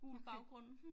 Gul baggrund